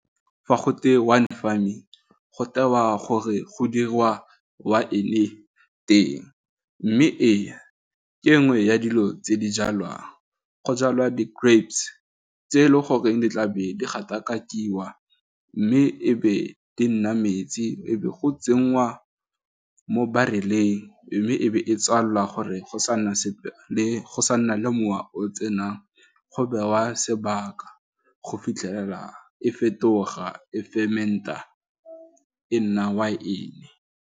Fa go twe wine farming go tewa gore go dirwa waene teng, mme ena ke nngwe ya dilo tse di jalwang, go jalwa di-grapes, tse e le goreng ditlabelo gatakakiwa mme e be di nna metsi e be go tsenngwa mo bareleng, mme e be e tswalelwa gore go sa nna sepe le go sa nna le mowa o tsenang go bewa sebaka go fitlhelela e fetoga e femernt-a e nna waene.